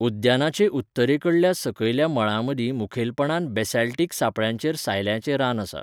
उद्यानाचे उत्तरेकडल्या सकयल्या मळांमदीं मुखेलपणान बेसाल्टिक सापळ्यांचेर सायल्याचें रान आसा.